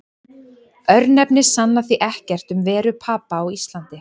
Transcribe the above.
Örnefni sanna því ekkert um veru Papa á Íslandi.